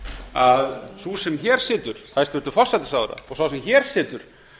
að sú sem hér situr hæstvirtur forsætisráðherra og sá sem hér situr